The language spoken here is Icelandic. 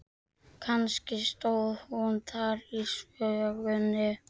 Kannski stóð hún þar í þvögunni.